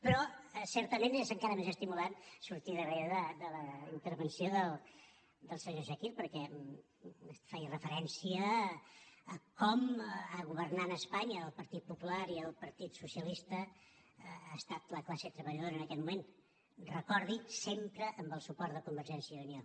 però certament és encara més estimulant sortir darrere de la intervenció del senyor chakir perquè feia referència a com governant a espanya el partit popular i el partit socialista ha estat la classe treballadora en aquest moment recordi ho sempre amb el suport de convergència i unió